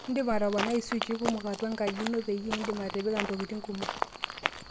indim atponaai swichi kumpok atua enkaji ino peyie indim atipika ntokitin kumok